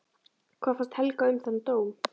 Hvað fannst Helga um þann dóm?